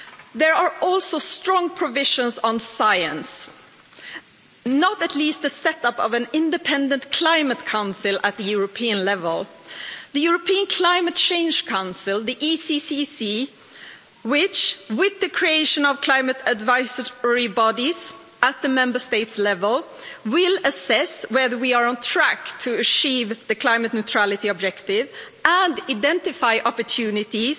of. There are also strong provisions on science, not to mention the set up of an independent climate council at European level the European Climate Change Council which, with the creation of climate advisory bodies at Member State level, will assess whether we are on track to achieve the climate neutrality objective and identify opportunities